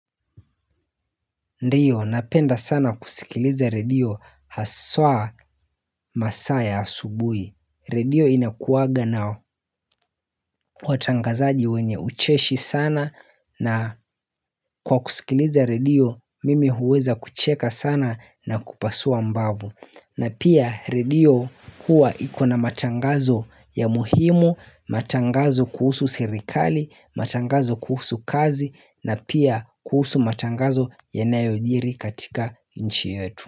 Ndiyo napenda sana kusikiliza redio haswaa masaa ya asubuhi Redio inakuwaga na watangazaji wenye ucheshi sana na kwa kusikiliza redio mimi huweza kucheka sana na kupasua mbavu. Na pia redio huwa ikona matangazo ya muhimu, matangazo kuhusu sirikali, matangazo kuhusu kazi na pia kuhusu matangazo yanayojiri katika nchi yetu.